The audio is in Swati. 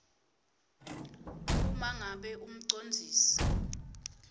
uma ngabe umcondzisi